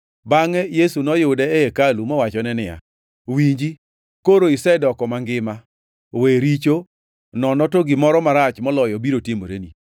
Bangʼe Yesu noyude e hekalu mowachone niya, “Winji, koro isedoko mangima. We richo, nono to gimoro marach moloyo biro timoreni.”